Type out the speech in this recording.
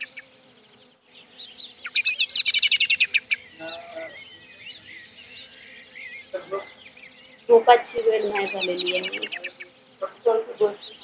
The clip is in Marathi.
भूपात ची नाही झालेली आहे